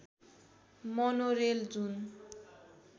monorail जुन